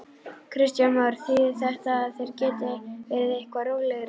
Kristján Már: Þýðir þetta að þeir geti verið eitthvað rólegri?